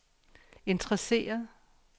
interesseret